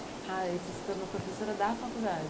Ah, você se tornou professora da faculdade?